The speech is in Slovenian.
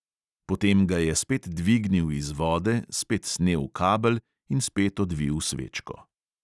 Potem ga je spet dvignil iz vode, spet snel kabel in spet odvil svečko.